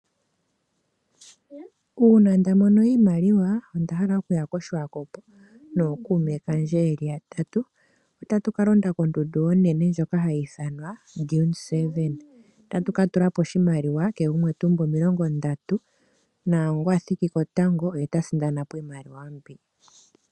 Uuna nda mono iimaliwa, onda hala oku ya koSwakop nookuume kandje yeli yatatu. Otatu ka londa kondundu onene ndjoka hayi ithanwa oDune 7. Otatu ka tula po oshimaliwa, kehe gumwe ta umbu omilongo ndatu, naangoka a thiki ko tango oye ta sindana po iimaliwa mbyoka.